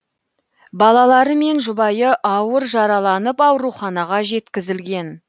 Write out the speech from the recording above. балалары мен жұбайы ауыр жараланып ауруханаға жеткізілген